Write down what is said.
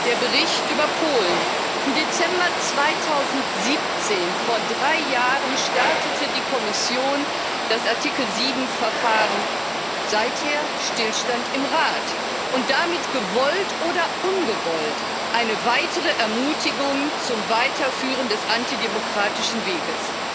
Herr Präsident! Der Bericht über Polen Im Dezember 2017, vor drei Jahren, startete die Kommission das Artikel 7 Verfahren seither Stillstand im Rat und damit gewollt oder ungewollt eine weitere Ermutigung zum Weiterführen des antidemokratischen Weges.